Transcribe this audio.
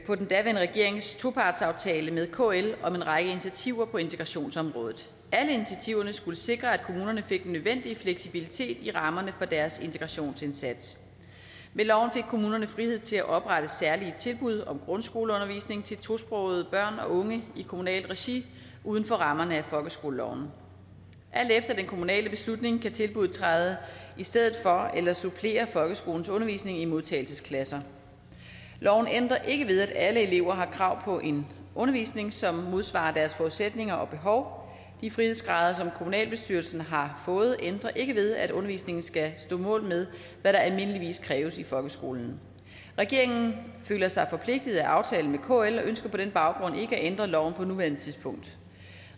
på den daværende regerings topartsaftale med kl om en række initiativer på integrationsområdet alle initiativerne skulle sikre at kommunerne fik den nødvendige fleksibilitet i rammerne for deres integrationsindsats med loven fik kommunerne frihed til at oprette særlige tilbud om grundskoleundervisning til tosprogede børn og unge i kommunalt regi uden for rammerne af folkeskoleloven alt efter den kommunale beslutning kan tilbuddet træde i stedet for eller supplere folkeskolens undervisning i modtageklasser loven ændrer ikke ved at alle elever har krav på en undervisning som modsvarer deres forudsætninger og behov de frihedsgrader som kommunalbestyrelsen har fået ændrer ikke ved at undervisningen skal stå mål med hvad der almindeligvis kræves i folkeskolen regeringen føler sig forpligtet af aftalen med kl og ønsker på den baggrund ikke at ændre loven på nuværende tidspunkt